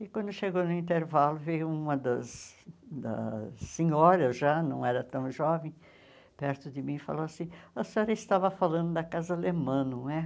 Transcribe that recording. E quando chegou no intervalo, veio uma das das senhoras, já não era tão jovem, perto de mim e falou assim, a senhora estava falando da casa alemã, não é?